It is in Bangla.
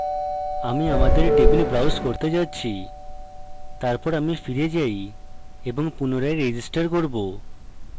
আমি আমাদের table browse করতে যাচ্ছি তারপর আমি ফিরে যাই এবং পুনরায় register করব